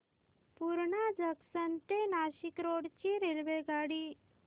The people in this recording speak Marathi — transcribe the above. पूर्णा जंक्शन ते नाशिक रोड ची रेल्वेगाडी